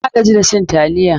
Na gaji da cin taliya.